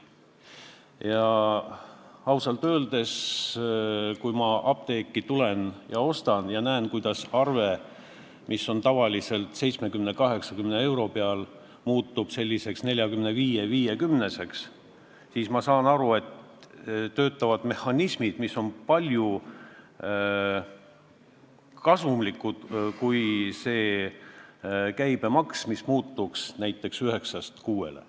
Ja ausalt öeldes, kui ma apteeki lähen ja näen, kuidas arve, mis on tavaliselt 70–80 eurot, muutub 45–50 euroks, siis ma saan aru, et töötavad mehhanismid, mis annavad palju rohkem kasu, kui annaks käibemaks 9% asemel näiteks 6%.